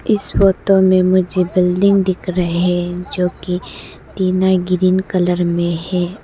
इस फोटो में मुझे बिल्डिंग दिख रहे हैं जो कि तीनों ग्रीन कलर में है।